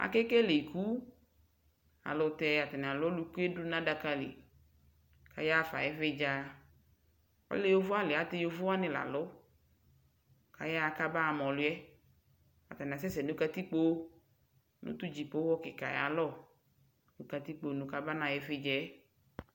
Akekele iku Ayɛlʊtɛ atani alʊ oluku yɛ dʊ nʊ adaka li Ayaɣa fa ɩvɩdza Alɛ yovoali ayɛlʊtɛ yovowani lalʊ Ayaɣa kaba ma ɔlʊ yɛ Atani asɛsɛ nʊ katikpo, nʊ tʊ dzipoxɔ kika yɛ ayʊ alɔ nʊ katikpo nʊ kaba naɣa ɩvɩdza yɛ